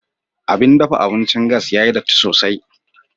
Abin dafa abincin gas ya yi datti sosai.